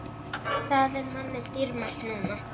Það er manni dýrmætt núna.